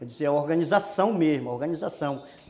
Eu dizia organização mesmo, organização.